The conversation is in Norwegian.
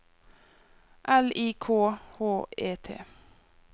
L I K H E T